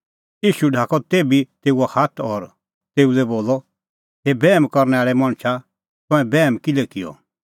ईशू ढाकअ तेभी तेऊओ हाथ और तेऊ लै बोलअ हे बैहम करनै आल़ै मणछा तंऐं बैहम किल्है किअ